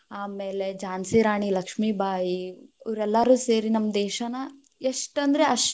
ಆಮೇಲೆ ಝಾನ್ಸಿ ರಾಣಿ ಲಕ್ಷ್ಮೀಬಾಯಿ, ಇವರೆಲ್ಲಾರು ಸೇರಿ ನಮ್ಮ ದೇಶಾನ ಎಷ್ಟಂದ್ರ್ ಅಷ್ಟ್.